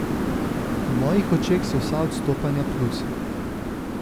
V mojih očeh so vsa odstopanja plusi.